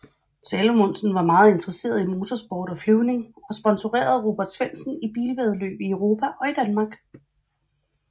Salomonsen var meget interesseret i motorsport og flyvning og sponserede Robert Svendsen i bilvæddeløb i Europa og i Danmark